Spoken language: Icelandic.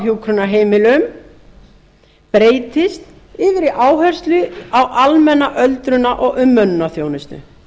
á hjúkrunarheimilum breytist yfir í áherslur á almenna öldrunar og umönnunarþjónustu